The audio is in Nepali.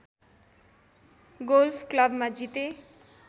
गोल्फ क्लबमा जिते